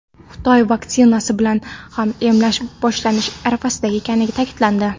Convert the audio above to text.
Xitoy vaksinasi bilan ham emlash boshlanish arafasida ekani ta’kidlandi.